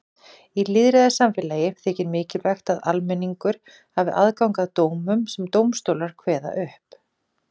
Í lýðræðissamfélagi þykir mikilvægt að almenningur hafi aðgang að dómum sem dómstólar kveða upp.